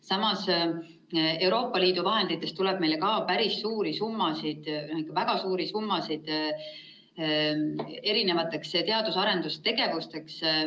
Samas, Euroopa Liidu vahenditest tuleb meile ka päris suuri summasid, väga suuri summasid teadus‑ ja arendustegevuseks.